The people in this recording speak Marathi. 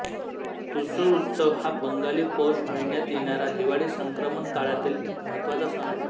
तुसु उत्सव हा बंगाली पौष महिन्यात येणारा हिवाळी संक्रमण काळातील एक महत्वाचा सण आहे